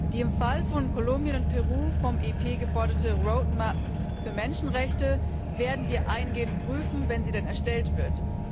Die im Fall von Kolumbien und Peru vom EP geforderte Roadmap für Menschenrechte werden wir eingehend prüfen, wenn sie denn erstellt wird.